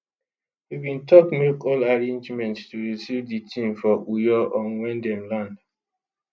we bin don make all arrangements to receive di team for uyo on wen dem land